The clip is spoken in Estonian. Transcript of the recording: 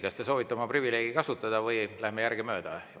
Kas te soovite oma privileegi kasutada või läheme järgemööda?